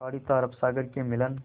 खाड़ी तथा अरब सागर के मिलन